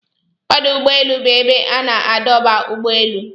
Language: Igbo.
Ọdụ úgbọélụ́ bụ ebe a na-adọba ụ́gbọ elụ.